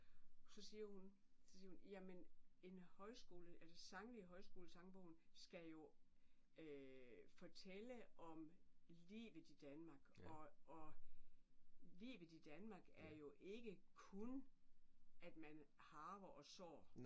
Så siger hun så siger hun jamen en højskole eller sangene i højskolesangbogen skal jo fortælle om livet i Danmark og og livet i Danmark er jo ikke kun at man harver og sår